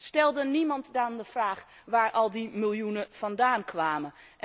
Stelde niemand dan de vraag waar al die miljoenen vandaan kwamen.